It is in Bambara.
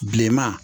Bilenman